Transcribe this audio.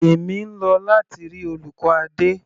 Èmi ń lọ láti rí olùkọ́ Adé.